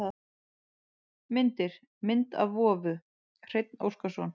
Myndir: Mynd af vofu: Hreinn Óskarsson.